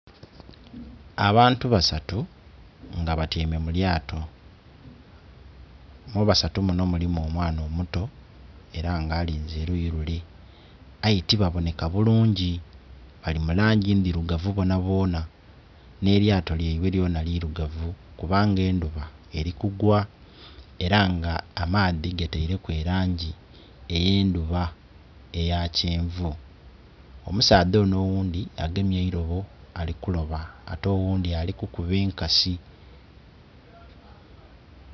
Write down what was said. Abantu basatu nga ba tyaime mu lyato mu basatu munho mulimu omwana omuto era nga alinze oluyi lule aye tibaboneka bulungi bali mu langi ndhirugavu bonabona nhe lyato lya ibwe lyona lirugavu kuba nga endhuba eri kugwa era nga amaadhi gataireku elangi eye endhuba eya kyenvu. Omusaadha onho ogundhi agemye eiroobo ali ku looba ate ogundhi ali kukuba enkasi.